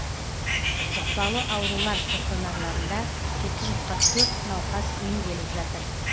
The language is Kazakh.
жұқпалы аурулар стационарларында жеті жүз қырық төрт науқас емделіп жатыр